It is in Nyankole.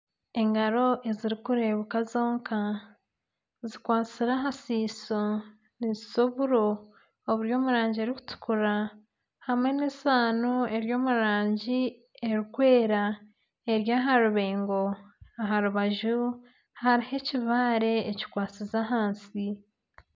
Engaro ezirikureebeka zonka zikwatsire aha siiso nizisa oburo, oburi omu rangi erikutukura hamwe n'esaano eri omu rangi erikwera eri aha rubengo aha rubaju hariho ekibaare ekikwatsize ahansi